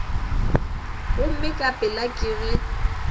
gomme ka pela ke ge